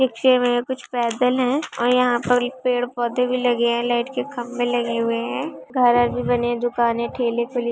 Picture मे कुछ पैदल है और यहाँ पे एक पेड पौधे भी लगे हुए है। लाइट के खंबे लगे हुए है। बने है दुकान